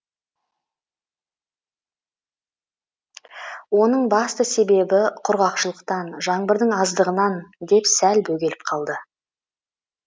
оның басты себебі құрғақшылықтан жаңбырдың аздығынан деп сәл бөгеліп қалды